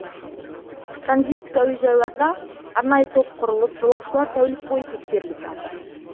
транзиттік әуежайларда арнайы топ құрылып жолаушылар тәулік бойы тексеріліп жатыр